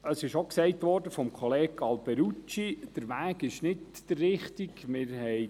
Wie schon von Kollege Alberucci gesagt wurde, hat man auch nicht den richtigen Weg gewählt.